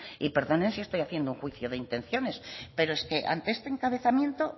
y perdonen si estoy haciendo un juicio de intenciones pero es que ante este encabezamiento